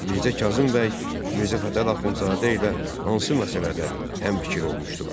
Mirzə Kazım bəy Mirzə Fətəli Axundzadə ilə hansı məsələdə həmfikir olmuşdular?